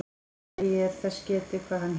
Eigi er þess getið, hvað hann hét.